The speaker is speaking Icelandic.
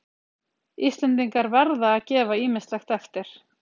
Íslendingar verða að gefa ýmislegt eftir